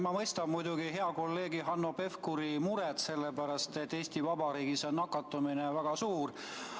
Ma mõistan muidugi hea kolleegi Hanno Pevkuri muret selle pärast, et Eesti Vabariigis on nakatumine väga suur.